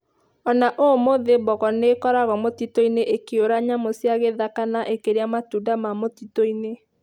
O na ũmũthĩ, mbogo nĩ ikoragwo mũtitũ-inĩ ikĩũra nyamũ cia gĩthaka na ikĩrĩa matunda ma mũtitũ-inĩ.